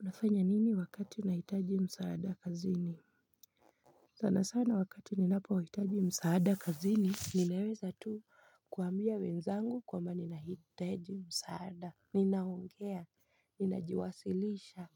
Unafanya nini wakati unahitaji msaada kazini? Sana sana wakati ninapohitaji msaada kazini, ninaweza tu kuambia wenzangu kwamba ninahitaji msaada. Ninaongea, ninajiwasilisha,